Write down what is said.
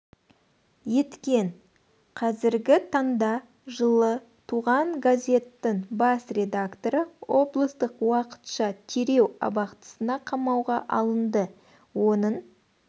еткен қазіргі таңда жылы туған азеттің бас редакторы облыстық уақытша тереу абақтысына қамауға алынды оның